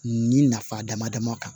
Nin nafa dama dama kan